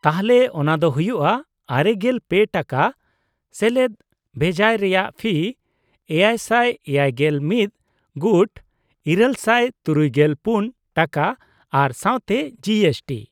-ᱛᱟᱦᱞᱮ ᱚᱱᱟ ᱫᱚ ᱦᱩᱭᱩᱜᱼᱟ ᱙᱓ ᱴᱟᱠᱟ + ᱵᱷᱮᱡᱟᱭ ᱨᱮᱭᱟᱜ ᱯᱷᱤ ᱗᱗᱑ ᱜᱩᱴ ᱘᱖᱔ ᱴᱟᱠᱟ ᱟᱨ ᱥᱟᱶᱛᱮ ᱡᱤ ᱮᱥ ᱴᱤ ᱾